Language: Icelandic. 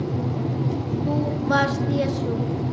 ÞÚ VARST JESÚ